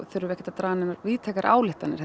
þurfum ekki að draga neinar víðtækar ályktanir